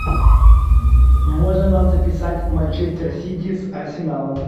можно нам записать манчестер сити с арсеналом